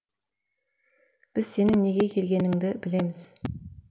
біз сенің неге келгеніңді білеміз